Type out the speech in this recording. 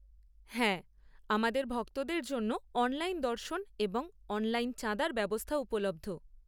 হ্যাঁ, আমাদের ভক্তদের জন্য অনলাইন দর্শন এবং অনলাইন চাঁদার ব্যবস্থা উপলব্ধ।